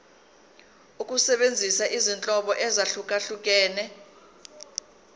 ukusebenzisa izinhlobo ezahlukehlukene